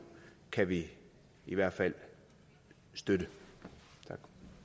kan vi i hvert fald støtte